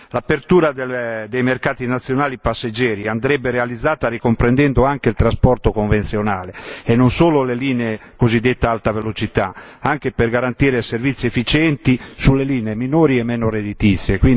L'apertura dei mercati nazionali passeggeri andrebbe realizzata ricomprendendo anche il trasporto convenzionale, e non solo le cosiddette linee ad alta velocità, anche per garantire servizi efficienti sulle linee minori e meno redditizie.